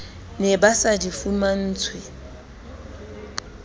ne ba sa di fumantshwe